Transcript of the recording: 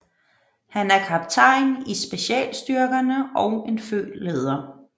Han er kaptajn i specialstyrkerne og en født leder